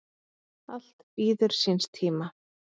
Allt bíður síns tíma.